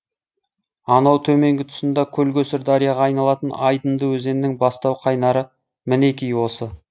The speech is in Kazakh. анау төменгі тұсында көл көсір дарияға айналатын айдынды өзеннің бастау қайнары мінеки осы